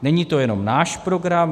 Není to jenom náš program.